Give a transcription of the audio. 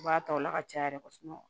U b'a ta o la ka caya yɛrɛ kosɛbɛ